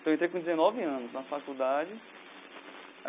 Então, entrei com dezenove anos na faculdade.